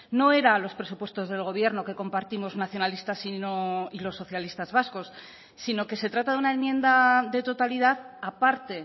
no era los presupuestos del gobierno que compartimos nacionalistas y los socialistas vascos sino que se trata de una enmienda de totalidad a parte